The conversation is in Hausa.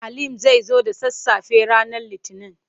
Halim zai zo da sassafe ranar Litinin.